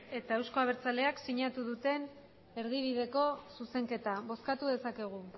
eta euzko abertzaleak sinatu duten erdibideko zuzenketa bozkatu dezakegu